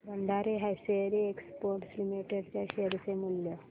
Bhandari hosiery exports limited च्या share चे मूल्य